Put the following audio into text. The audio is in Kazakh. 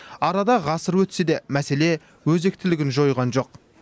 арада ғасыр өтсе де мәселе өзектілігін жойған жоқ